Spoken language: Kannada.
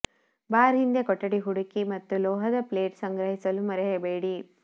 ಬಾರ್ ಹಿಂದೆ ಕೊಠಡಿ ಹುಡುಕಿ ಮತ್ತು ಲೋಹದ ಪ್ಲೇಟ್ ಸಂಗ್ರಹಿಸಲು ಮರೆಯಬೇಡಿ